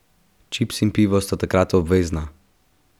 Čips in pivo sta takrat obvezna!